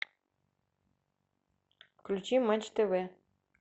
включи матч тв